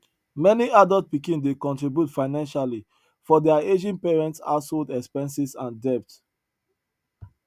many adult pikin dey contribute financially for their aging parents household expenses and debt